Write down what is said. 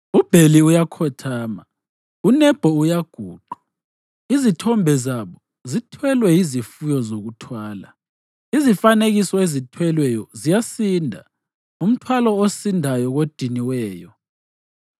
UBheli uyakhothama, uNebho uyaguqa; izithombe zabo zithwelwe yizifuyo zokuthwala. Izifanekiso ezithwelweyo ziyasinda, umthwalo osindayo kodiniweyo.